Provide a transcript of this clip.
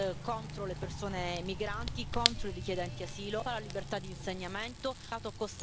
de la pertinence d'une convention encadrant l'usage des armes autonomes.